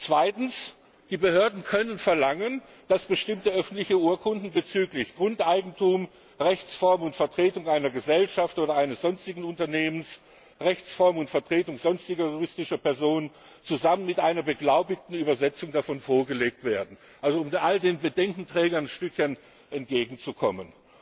Zweitens Die Behörden können verlangen, dass bestimmte öffentliche Urkunden bezüglich Grundeigentum, Rechtsform und Vertretung einer Gesellschaft oder eines sonstigen Unternehmens, Rechtsform und Vertretung sonstiger juristischer Personen zusammen mit einer beglaubigten Übersetzung davon vorgelegt werden also um all den Bedenkenträgern ein Stückchen entgegenzukommen.